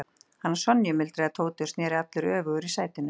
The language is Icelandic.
Hana Sonju? muldraði Tóti og sneri allur öfugur í sætinu.